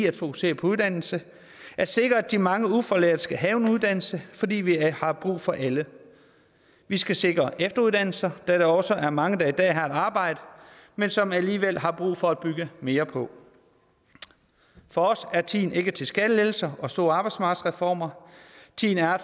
at fokusere på uddannelse at sikre at de mange ufaglærte skal have en uddannelse fordi vi har brug for alle vi skal sikre efteruddannelser da der også er mange der i dag har et arbejde men som alligevel har brug for at bygge mere på for os er tiden ikke til skattelettelser og store arbejdsmarkedsreformer tiden er